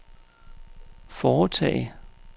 foretage